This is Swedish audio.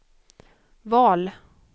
val